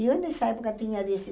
Eu nessa época tinha